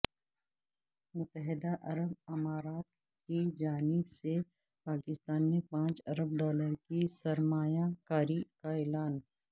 متحدہ عرب امارات کی جانب سے پاکستان میں پانچ ارب ڈالر کی سرمایہ کاری کااعلان